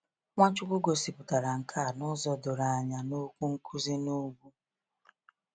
Nwachukwu gosipụtara nke a n’ụzọ doro anya na Okwu Nkuzi n’Ugwu.